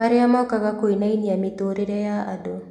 Marĩa mokaga kũinainia mĩtũũrĩre ya andu